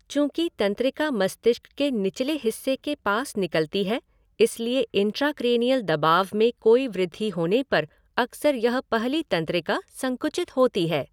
चूंकि तंत्रिका मस्तिष्क के निचले हिस्से के पास निकलती है, इसलिए इंट्राक्रैनियल दबाव में कोई वृद्धि होने पर अक्सर यह पहली तंत्रिका संकुचित होती है।